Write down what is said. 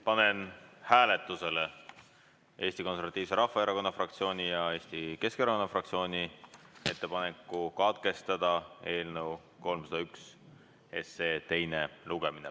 Panen hääletusele Eesti Konservatiivse Rahvaerakonna fraktsiooni ja Eesti Keskerakonna fraktsiooni ettepaneku katkestada eelnõu 301 teine lugemine.